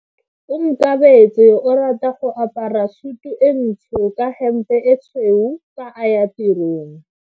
Onkabetse o rata go apara sutu e ntsho ka hempe e tshweu fa a ya tirong.